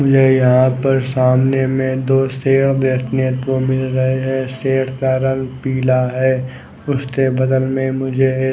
मुझे यहाँ पर सामने में दो शेर देखने को मिल रहा है शेर का रंग पीला है उसके बगल में मुझे एक--